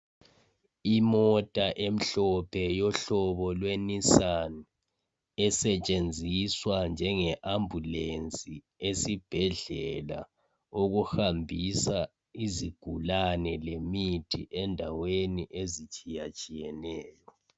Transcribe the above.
Imota emhlophe yohlobo lwe"Nissan"esetshenziswa njenge ambulensi esibhedlela okuhambisa izigulane lemithi endaweni ezitshiyatshiyeneyo.